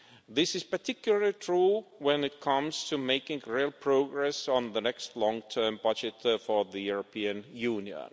This is particularly true when it comes to making real progress on the next long-term budget for the European Union.